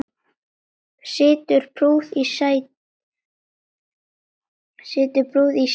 Situr prúð í sínu sæti.